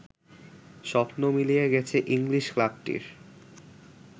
স্বপ্ন মিলিয়ে গেছে ইংলিশ ক্লাবটির